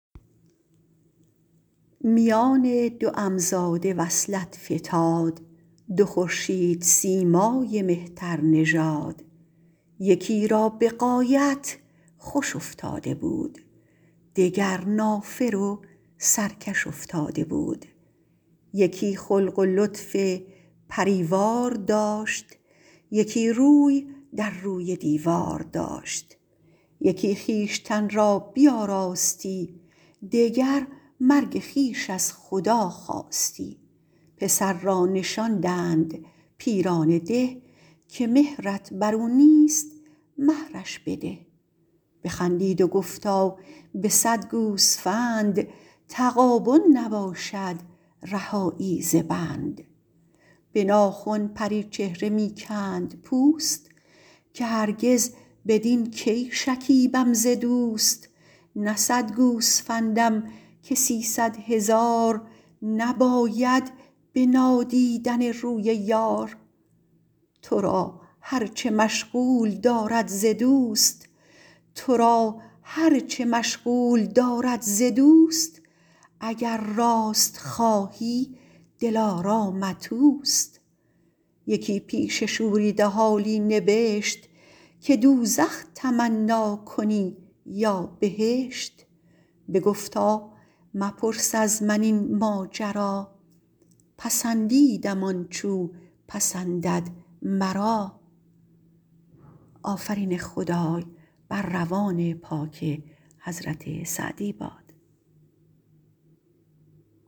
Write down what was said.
میان دو عم زاده وصلت فتاد دو خورشید سیمای مهتر نژاد یکی را به غایت خوش افتاده بود دگر نافر و سرکش افتاده بود یکی خلق و لطف پریوار داشت یکی روی در روی دیوار داشت یکی خویشتن را بیاراستی دگر مرگ خویش از خدا خواستی پسر را نشاندند پیران ده که مهرت بر او نیست مهرش بده بخندید و گفتا به صد گوسفند تغابن نباشد رهایی ز بند به ناخن پری چهره می کند پوست که هرگز بدین کی شکیبم ز دوست نه صد گوسفندم که سیصد هزار نباید به نادیدن روی یار تو را هر چه مشغول دارد ز دوست اگر راست خواهی دلارامت اوست یکی پیش شوریده حالی نبشت که دوزخ تمنا کنی یا بهشت بگفتا مپرس از من این ماجرا پسندیدم آنچ او پسندد مرا